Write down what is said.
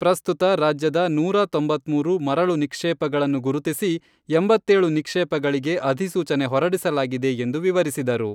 ಪ್ರಸ್ತುತ ರಾಜ್ಯದ ನೂರಾ ತೊಂಬತ್ಮೂರು ಮರಳು ನಿಕ್ಷೇಪಗಳನ್ನು ಗುರುತಿಸಿ ಎಂಬತ್ತೇಳು ನಿಕ್ಷೇಪಗಳಿಗೆ ಅಧಿಸೂಚನೆ ಹೊರಡಿಸಲಾಗಿದೆ ಎಂದು ವಿವರಿಸಿದರು.